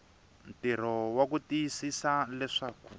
ntirho wa ku tiyisisa leswaku